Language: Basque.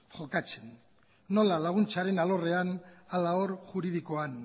jokatzen bai laguntzaren alorrean alaalor juridikoan